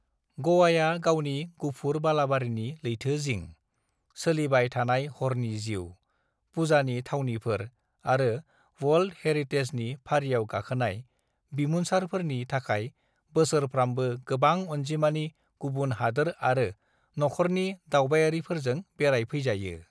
"ग'वाया गावनि गुफुर बालाबारिनि लैथो जिं, सोलिबाय थानाय हरनि जिउ, पूजानि थावनिफोर आरो वर्ल्द हेरितेजनि फारियाव गाखोनाय बिमुनसारफोरनि थाखाय बोसोरफ्रामबो गोबां अनजिमानि गुबुन हादोर आरो नखरनि दावबायारिफोरजों बेरायफैजायो।"